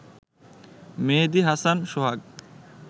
মেহেদি Hasan সোহাগ